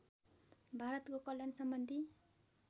भारतको कल्याण सम्बन्धी